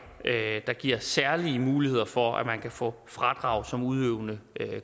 der giver særlige muligheder for at man kan få fradrag som udøvende